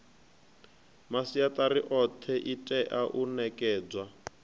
masiatari othe itea u nekedzwa